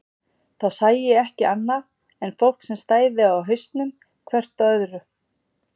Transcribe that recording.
Þá sæi ég ekki annað en fólk sem stæði á hausnum hvert á öðru.